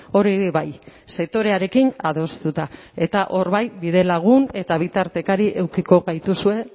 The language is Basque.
hori bai sektorearekin adostuta eta hor bai bidelagun eta bitartekari edukiko gaituzue